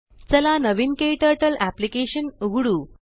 चला नवीन KTturtleअप्लिकेशन उघडू